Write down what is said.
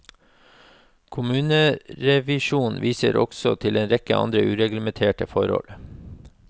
Kommunerevisjon viser også til en rekke andre ureglementerte forhold.